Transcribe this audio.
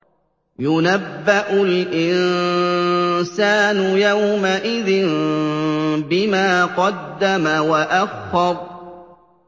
يُنَبَّأُ الْإِنسَانُ يَوْمَئِذٍ بِمَا قَدَّمَ وَأَخَّرَ